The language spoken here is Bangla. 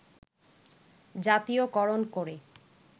জাতীয়করণ করে